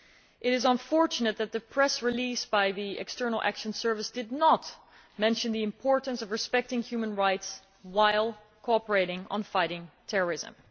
It is unfortunate that the press release by the External Action Service did not mention the importance of respecting human rights while cooperating on fighting terrorism